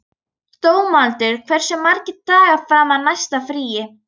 Dómaldur, hversu margir dagar fram að næsta fríi?